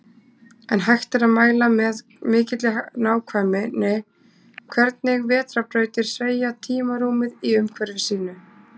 En hægt er að mæla með mikilli nákvæmni hvernig vetrarbrautir sveigja tímarúmið í umhverfi sínu.